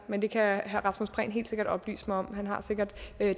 men det kan herre rasmus prehn helt sikkert oplyse mig om han har sikkert